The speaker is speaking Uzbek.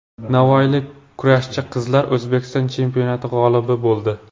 Navoiylik kurashchi qizlar O‘zbekiston chempionati g‘olibi bo‘ldi.